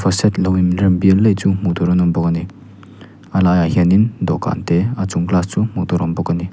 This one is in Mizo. set lo inrem bial laih chu hmuh tur an awm bawk ani a lai ah hianin dawhkan te a chung glass chu hmuh tur awm bawk ani.